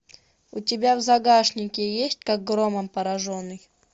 у тебя в загашнике есть как громом пораженный